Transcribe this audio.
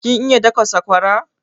Kin iya daka sakwara?